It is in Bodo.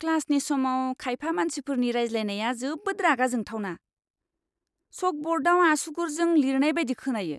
क्लासनि समाव खायफा मानसिफोरनि रायज्लायनाया जोबोद रागा जोंथावना, चकब'र्डाव आसुगुरजों लिरनाय बायदि खोनायो!